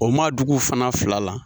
O Maadugu fana fila la.